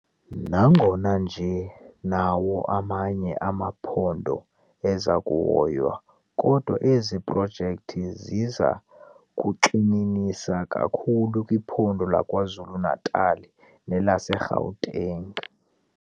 Nangona nje nawo amanye amaphondo eza kuhoywa, kodwa ezi projekthi ziza kugxininisa kakhulu kwiphondo laKwaZulu-Natal nelaseGauteng.